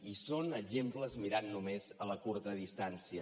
i són exemples mirant només a la curta distància